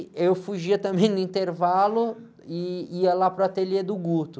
Eu fugia também no intervalo e ia lá para o ateliê do.